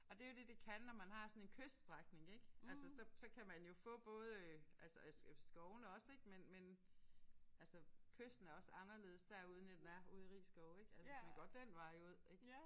Og det er jo det det kan når man har sådan en kyststrækning ik altså så så kan man jo få både altså skovene også ik men men altså kysten er også anderledes derude end den er ude i Risskov ik altså hvis man går den vej ud ik